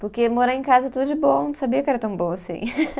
Porque morar em casa é tudo de bom, não sabia que era tão bom assim.